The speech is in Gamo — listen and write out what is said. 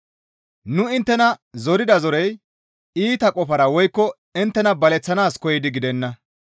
Nu inttena zorida zorey iita qofara woykko inttena baleththanaas koyidi gidenna.